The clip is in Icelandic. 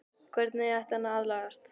Hvernig ætti hann að aðlagast?